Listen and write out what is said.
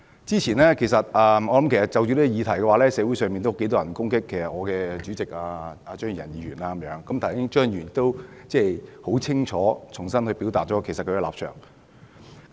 就着今天的議題，其實之前有很多人攻擊我們的黨主席張宇人議員，而剛才張宇人議員已非常清楚地重新表達了他的實際立場。